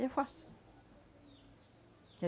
Eu faço.